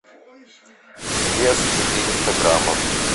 вес четыреста граммов